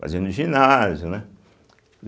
Fazia no ginásio, né.